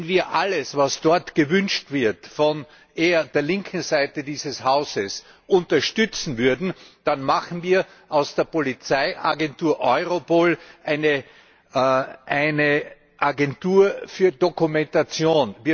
Wenn wir alles, was dort gewünscht wird von eher der linken Seite dieses Hauses, unterstützen würden, dann machen wir aus der Polizeiagentur Europol eine Agentur für Dokumentation.